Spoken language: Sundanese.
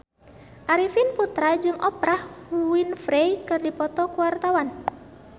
Arifin Putra jeung Oprah Winfrey keur dipoto ku wartawan